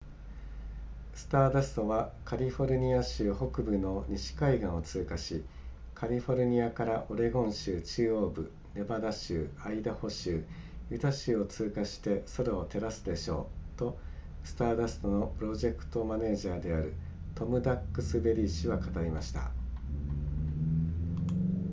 スターダストはカリフォルニア州北部の西海岸を通過しカリフォルニアからオレゴン州中央部ネバダ州アイダホ州ユタ州を通過して空を照らすでしょうとスターダストのプロジェクトマネージャーであるトムダックスベリー氏は語りました